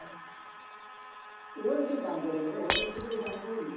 oven સુ કામ પડે મને oven વિશે કોઈ જાણકારી જ નથી